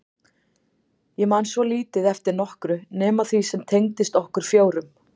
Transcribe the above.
Ég man svo lítið eftir nokkru nema því sem tengdist okkur fjórum.